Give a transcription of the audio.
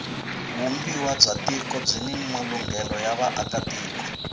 vumbiwa bya tiko byini malunghelo ya vaaka tiko